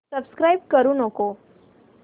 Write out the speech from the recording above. subscribe करू नको